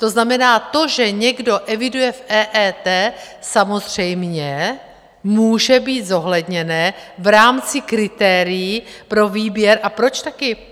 To znamená, to, že někdo eviduje v EET, samozřejmě může být zohledněné v rámci kritérií pro výběr - a proč taky?